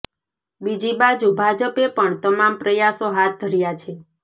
બીજી બાજુ ભાજપે પણ તમામ પ્રયાસો હાથ ધર્યા છે